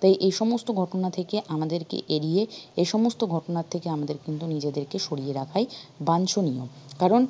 তো এই সমস্ত ঘটনা থেকে আমাদেরকে এড়িয়ে এই সমস্ত ঘটনা থেকে আমাদের কিন্তু নিজেদেরকে সরিয়ে রাখাই বাঞ্চনীয় কারন